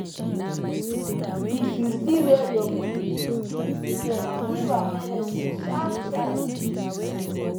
if you see wer your pig skin tear give am medicine sharp sharp